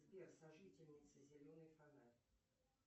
сбер сожительница зеленый фонарь